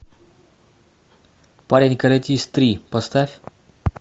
парень каратист три поставь